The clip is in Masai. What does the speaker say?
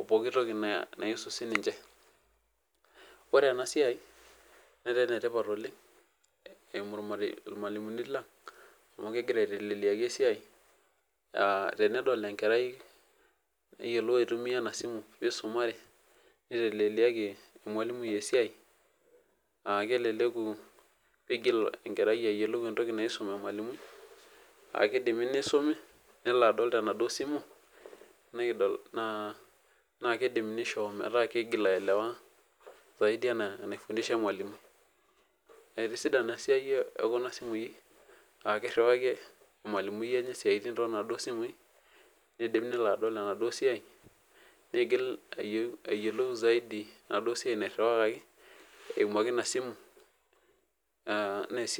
opooki toki sininche ore enasia netaa enetipat oleng eimu irmalimulini lang amu kegira aitelelia esiai tenedol enkerai aitumua inasimubnisumare niteleliaki ormalimui esiai aa keleleku nivil engerai ayiolou entoki naisumaki akidimi nisumi nelo adol tenaduo simu na kidim nisho metaa kigil aelewa saidi ana enifundisha ormalimui etisidana esiai ekuna simui akkriwarie ormalimui tonaduo simui enaduo siai eimu ake inasimu nesidai